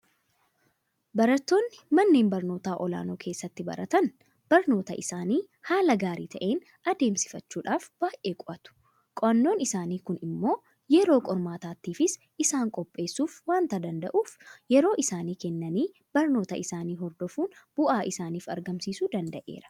Barattoonni manneen barnootaa olaanoo keessatti baratan barnoota isaanii haala gaarii ta'een adeemsifachuudhaaf baay'ee qo'atu. Qo'annaan isaanii kun immoo yeroo qormaataatiifis isaan qopheessuu waanta danda'uuf yeroo isaanii kennanii barnoota isaanii hordofuun bu'aa isaaniif argamsiisuu danda'eera.